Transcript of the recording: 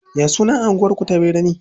Ya sunan anguwar ku ta birne?